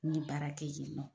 N ɲe baara kɛ yen nɔ.